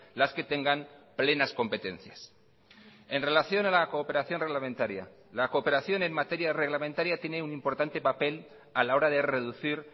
las que tengan plenas competencias en relación a la cooperación reglamentaria la cooperación en materia reglamentaria tiene un importante papel a la hora de reducir